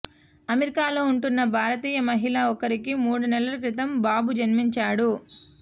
అమెరికాలో ఉంటున్న భారతీయ మహిళ ఒకరికి మూడు నెలల క్రితం బాబు జన్మించాడు